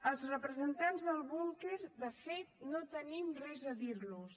als representants del búnquer de fet no tenim res a dir los